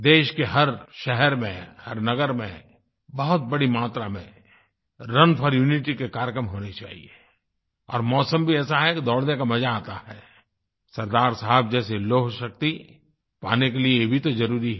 देश के हर शहर में हर नगर में बहुत बड़ी मात्रा में रुन फोर यूनिटी के कार्यक्रम होने चाहिए और मौसम भी ऐसा है कि दौड़ने का मज़ा आता है सरदार साहब जैसी लौहशक्ति पाने के लिए ये भी तो ज़रुरी है